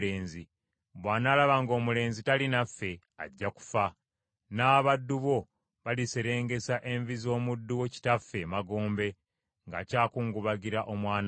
bw’anaalaba ng’omulenzi tali naffe, ajja kufa, n’abaddu bo baliserengesa envi z’omuddu wo kitaffe emagombe ng’akyakungubagira omwana we.